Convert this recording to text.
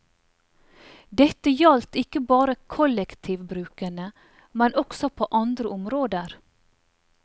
Dette gjaldt ikke bare kollektivbrukene, men også på andre områder.